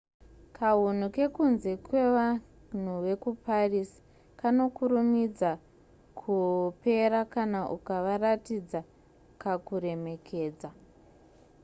kahunu kekunze kevanhu vekuparis kanokurumidza kupera kana ukavaratidza kakuremekedza